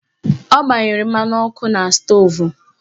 Ọ gbanyere mmanụ ọkụ na stoovu